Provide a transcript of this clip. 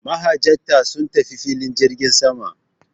Mahajjata sun tafi filin jirgin sama.